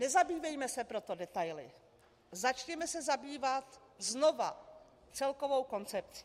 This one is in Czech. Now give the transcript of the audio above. Nezabývejme se proto detaily, začněme se zabývat znova celkovou koncepcí.